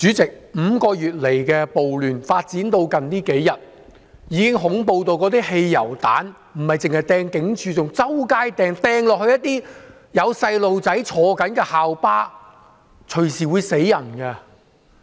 主席 ，5 個月來的暴亂發展至最近數天，已經恐怖到那些汽油彈不單是擲向警署，更是在街上隨處投擲，擲向有學童乘坐的校巴，這樣隨時會"死人"的。